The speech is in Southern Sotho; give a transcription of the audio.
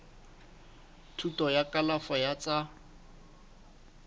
thuto ya kalafo ya tsa